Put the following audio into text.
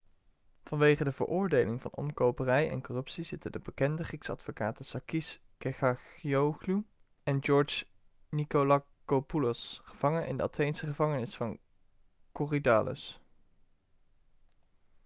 vanwege de veroordeling voor omkoperij en corruptie zitten de bekende griekse advocaten sakis kechagioglou en george nikolakopoulos gevangen in de atheense gevangenis van korydallus